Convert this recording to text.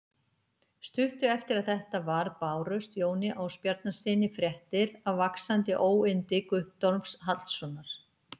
Stuttu eftir að þetta varð bárust Jóni Ásbjarnarsyni fréttir af vaxandi óyndi Guttorms Hallssonar.